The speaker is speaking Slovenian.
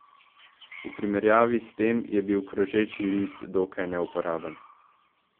V primerjavi s tem je bil Krožeči list dokaj neuporaben.